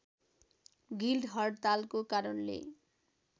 guild हडतालको कारणले